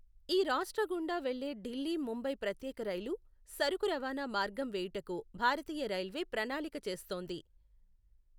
ఈ రాష్ట్ర గుండా వెళ్లే ఢిల్లీ ముంబై ప్రత్యేక రైలు సరుకు రవాణా మార్గాం వేయుటకు భారతీయ రైల్వే ప్రణాళిక చేస్తోంది.